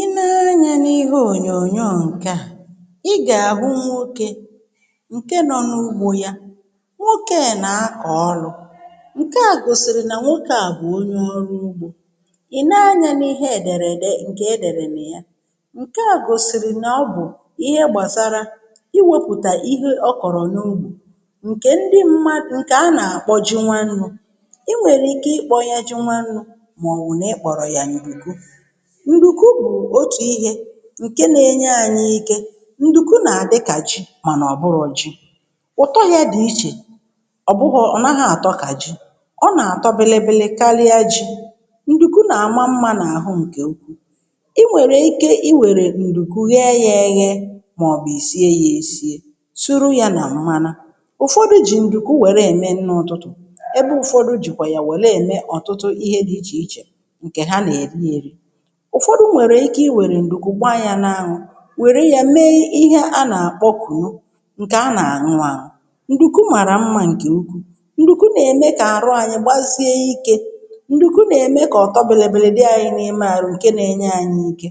Ị nee anyȧ n’ihe ònyònyo ǹke à, i gà-àhụ nwokė ǹke nọ n’ugbȯ ya, nwokė nà-akọ̀ ọrụ̇, ǹke à gòsìrì nà nwokė à bụ̀ onye ọrụ ugbȯ, ìnee anyȧ n’ihe èdèrèdè ǹkè èdèrè nà ya, ǹke à gòsìrì nà ọ bụ̀ ihe gbàsara iwėpùtà ihe okọ̀rọ̀ n’ugbȯ ǹkè ndi mmȧ ǹkè a nà-àkpọ ji nwanu̇, ị nwere ike ikpo ya ji nwanu maọbụ ikpo ya ndùkú. Nduku bù òtù ihė ǹke nȧ-enye ȧnyị̇ ike, ǹdùkú nà àdị kà ji mànà ọ̀ bụrọ̀ ji, ụ̀tọ yȧ dì ichè ọ̀ bụhọ̇ ọ̀ naghị̇ àtọ kà ji, ọ nà-àtọ bịlịbịlị kalịa ji, ǹdùkú nà-àma mmȧ nà àhụ ǹkè ukwuù, i nwèrè ike i wèrè ndùkú ghee yȧ ėghė màọ̀bù ìsie yȧ èsie, sụrụ yȧ nà mmanu. Ufọdụ jì ǹdùkú wère ème nni ụtụtụ̀, ebe ụ̀fọdụ jìkwà yà wère ème ọ̀tụtụ ihe di ichè ichè nke ha na -eri eri. Ufọdụ nwèrè ike i wèrè ǹdùku gbaa yȧ n’aṅwụ wère yȧ mee ihe a nà-àkpọ kụnu ǹkè a nà-àṅụ àṅụ. ǹdùkú màrà mmȧ ǹkè ukwuù, ǹdùkwu nà-ème kà àrụ anyị gbazie ikė, ǹdùku nà-ème kà ọ̀tọ bèlèbèlè dị anyị n’ime arụ ǹke na-enye ànyị ike,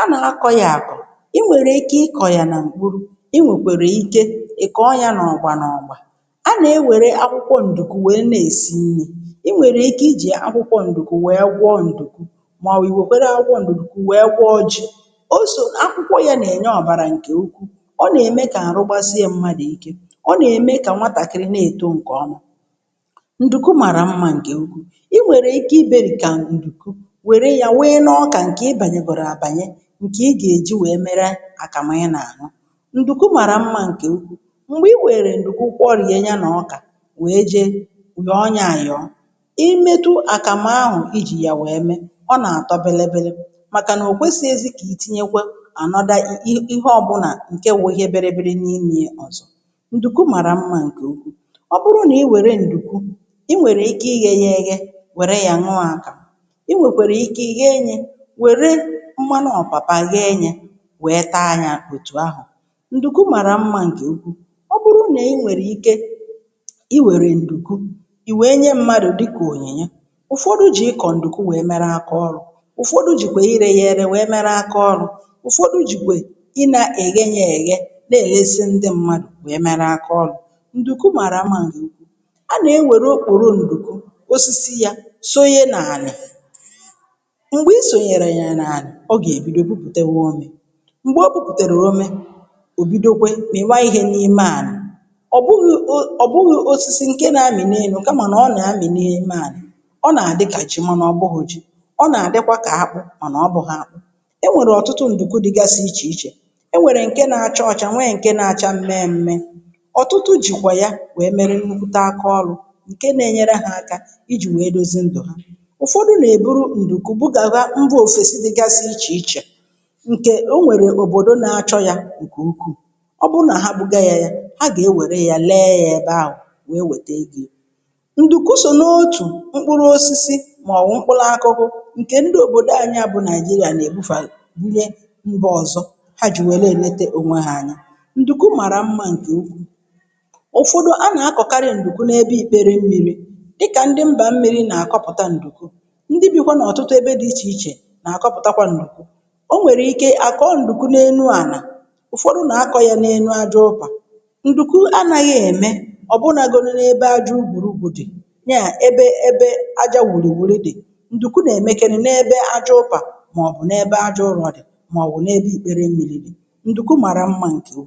a nà-akọ ya àkọ̀, i nwèrè ike ịkọ̀ yà nà m̀kpụrụ̀, i nwèkwèrè ike ị kọ̀ọ ya n’ọgba n’ọ̀gba, a nà-ewère akwụkwọ ǹdùku wèe na-èsi nnii, ị nwèrè ike i jì akwụkwọ ǹdùku wee gwọọ ǹdùkú maọbụ iwe kwere akwụkwọ nduku wee gwọọ ji, ò sò akwụkwọ yȧ nà-ènye ọ̀bàrà ǹkè ukwu, ọ nà-ème kà àrụ gbasịa mmadụ̀ ike, ọ nà-ème kà nwatàkịrị nà-èto ǹkè ọma, ǹdùku màrà mmȧ ǹkè ụkwụ, i nwèrè ike ibérìko ǹdùku wère yȧ nwii na ọkà ǹkè ị bànyegoro abànye ǹkè ị gà-èji wèe mere àkàmụ̀ na-aṅụ. Ndùku màrà mmȧ ǹkè ụkwụ, m̀gbè i wèrè ǹdùku kworie ya nà ọkà wèe je yoo ya ayoo, imetụ akamu ahụ iji ya wee mee, Ona-atọ bilibili màkà nà ò kwesi̇ ezì kà itinyekwe ànọda ihe ọbụ̇nà nke wu ihe bịrịbịrị n’imė ya ọ̀zọ, ǹdùku màrà mmȧ ǹkè ukwu, ọ bụrụ nà i wère ǹdùku i nwèrè ike ighe ighe wère yȧ nwụȧ akamu i nwèkwèrè ike ighe enyė wère mmanụ ọ̀pàpa ghe enyė wèe taa yȧ òtù ahụ̀, ǹdùku màrà mmȧ ǹkè uku, ọ bụrụ nà i nwèrè ike i wère ǹdùku i wèe nye mmadụ̀ dịkà ònyinyè, ụ̀fọdụ jì ịkọ̀ ǹdùku wee mere aka ọrụ̇, ụ̀fọdụ jìkwè irė yȧ eree wèe mere akaọlụ̇, ụ̀fọdụ jìkwè ị nȧ-èghenye èghe nà-èlezì ndị mmadụ̀ wèe mere akaọlụ̇, ndùku màrà mma nke uku, a nà-e nwèrè okpòrò ndùku osisi yȧ, soye n’àlà, m̀gbè isònyèrè nyè n’àlà, ọ gà-èbido pupụ̀tewa ome, m̀gbè o pụ̀putèrè omė, ò bido kwe miba ihe n'ime ana, ọbụghị osisi nke na-amị n'enu, kama na ọ nà-amị̀ n’ime ana, ọ na-adị ka ji, mana obuho ji, ọ na-adị ka akpụ, mana obuho akpu, enwèrè ọ̀tụtụ ǹdùku dịgasị ichè ichè, e nwèrè ǹke nȧ-ȧcha ọchȧ, nwee ǹke na-acha mme mme. ọ̀tụtụ jìkwà ya nwèe mere nnukwùta akaọlụ̇ ǹke na-enyere hȧ aka ijì nwèe dozi ndụ̀ ha. ụfọdụ nà-èburu ndùku bugara mba ofèsi dịgasị ichè ichè ǹkè o nwèrè òbòdo na-achọ yȧ ǹkè ukwuù, ọ bụrụ nà ha buga yȧ, yȧ ha gà-ewère yȧ lėė yȧ ebe ahụ̀ wèe wète ego. Ndùku sò n’otù mkpụrụ osisi maọbụ mkpụrụ akụkụ nke ndị obodo anyị bụ Naijiria na-ebufa bunye mba ọzọ, ha were e ete onwe ha anya. ǹdùkú màrà mmȧ nke uku, ụ̀fọdụ a nà-akọ̀karị ǹdùkú n’ebe ikpere mmiri̇ dịkà ndị mbà mmiri nà-àkọpụ̀ta ǹdùkú, ndị bi̇kwa nà ọ̀tụtụ ebe dị̇ ichè ichè nà-àkọpụ̀takwa ǹdùkú, o nwèrè ike àkọọ ǹdùkú n’enu ànà ụ̀fọdụ nà-akọ yȧ n’enu aja ụpà, ǹdùkú anaghị ème ọ̀bụnȧgodė ebe aja u̇purupu dì, nyaa ebe ebe àjà wuru wuru di, ndùku na-emekerị n'ebe àjà upa, maọbụ n'ebe àjà ụrọ dị màọ̀bụ̀ n'ebe ikpẹ́re dị, nduku màrà mmȧ ǹkè u̇kwuu